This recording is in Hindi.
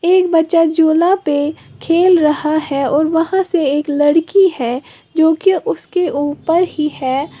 एक बच्चा झूला पे खेल रहा है और वहां से एक लड़की है जो कि उसके ऊपर ही है।